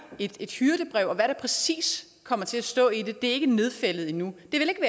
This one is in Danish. et et hyrdebrev hvad der præcis kommer til at stå i det det er ikke nedfældet endnu